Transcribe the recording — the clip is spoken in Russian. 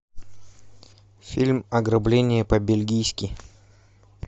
фильм ограбление по бельгийски